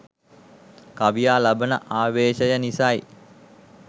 කවියා ලබන ආවේශය නිසයි.